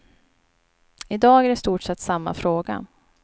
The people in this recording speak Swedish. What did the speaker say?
I dag är det i stort sett samma fråga.